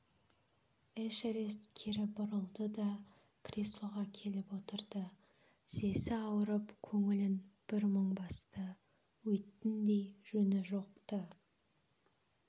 эшерест кері бұрылды да креслоға келіп отырды тізесі ауырып көңілін бір мұң басты өйттіндей жөні жоқ-ты